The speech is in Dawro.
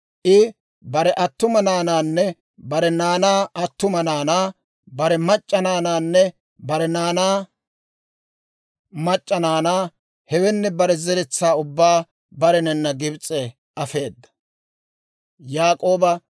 I bare attuma naanaanne bare naanaa attuma naanaa, bare mac'c'a naanaanne bare naanaa mac'c'a naanaa, hewenne bare zeretsaa ubbaa barenana Gibs'e afeedda.